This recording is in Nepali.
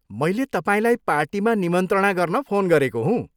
मैले तपाईँलाई पार्टीमा निमन्त्रणा गर्न फोन गरेको हुँ।